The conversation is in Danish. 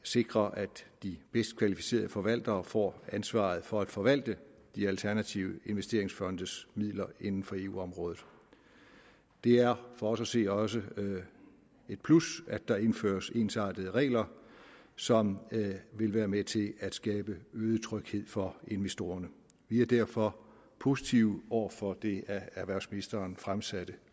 sikre at de bedst kvalificerede forvaltere får ansvaret for at forvalte de alternative investeringsfondes midler inden for eu området det er for os at se også et plus at der indføres ensartede regler som vil være med til at skabe øget tryghed for investorerne vi er derfor positive over for det af erhvervsministeren fremsatte